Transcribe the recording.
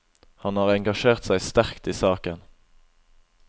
Han har engasjert seg sterkt i saken.